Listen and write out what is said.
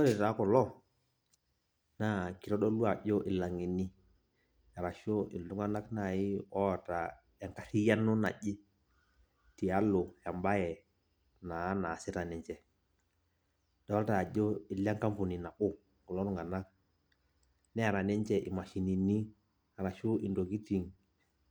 Ore taa kulo, naa kitodolu ajo ilang'eni, arashu iltung'anak nai oota enkarriyiano naje, tialo ebae naa nasita ninche. Adolta ajo ilenkampuni nabo kulo tung'anak, neeta ninche imashinini arashu intokiting